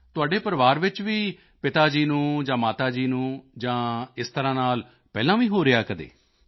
ਤੁਹਾਡੇ ਪਰਿਵਾਰ ਵਿੱਚ ਵੀ ਪਿਤਾ ਜੀ ਨੂੰ ਜਾਂ ਮਾਤਾ ਜੀ ਨੂੰ ਜਾਂ ਇਸ ਤਰ੍ਹਾਂ ਨਾਲ ਪਹਿਲਾਂ ਵੀ ਰਿਹਾ ਹੈ ਕਦੇ